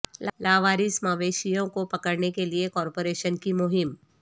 لاوارث مویشیوں کو پکڑنے کے لیے کارپوریشن کی مہم